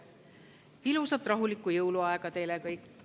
Ilusat rahulikku jõuluaega teile!